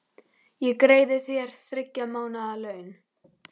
Ég greiði þér þriggja mánaða laun.